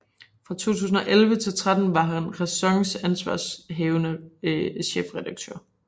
Fra 2011 til 2013 var han RÆSONs ansvarshavende chefredaktør